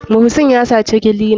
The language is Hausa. Muhsin yasaci clina.